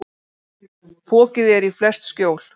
Fokið er í flest skjól.